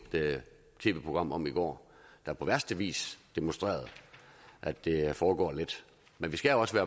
tv program om i går der på værste vis demonstrerede at det foregår let men vi skal også